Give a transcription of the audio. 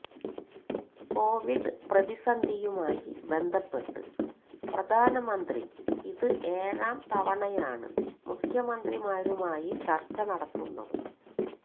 Covid പ്രതിസന്ധിയുമായി ബന്ധപ്പെട്ട് പ്രധാനമന്ത്രി ഇത് ഏഴാംതവണയാണ് മുഖ്യമന്ത്രിമാരുമായി ചര്ച്ച നടത്തുന്നത്